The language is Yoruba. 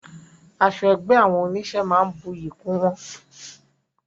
Aṣọ ẹgbẹ́ àwọn onísé máa ń buyí kún wọn